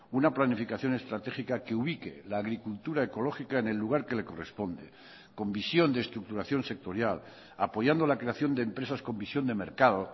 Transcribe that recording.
una planificación estratégica que ubique la agricultura ecológica en el lugar que le corresponde con visión de estructuración sectorial apoyando la creación de empresas con visión de mercado